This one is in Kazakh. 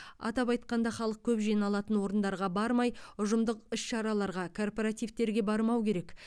атап айтқанда халық көп жиналатын орындарға бармай ұжымдық іс шараларға корпоративтерге бармау керек